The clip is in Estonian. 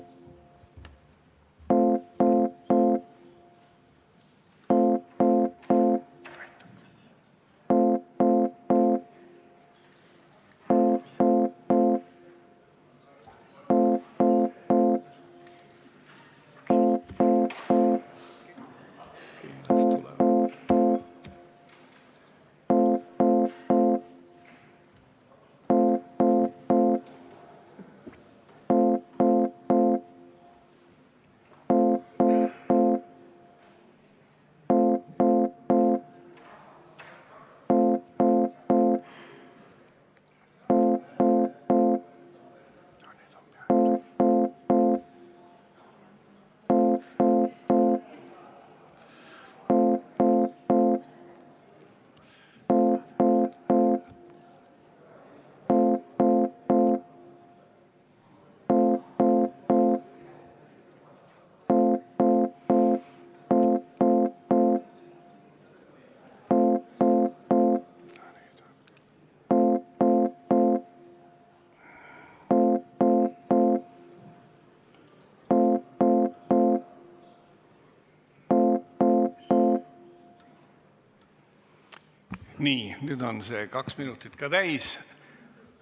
Nii, nüüd on kaks minutit täis.